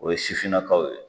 O ye sifininakaw ye